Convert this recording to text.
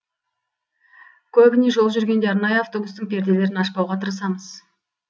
көбіне жол жүргенде арнайы автобустың перделерін ашпауға тырысамыз